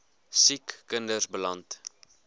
siek kinders beland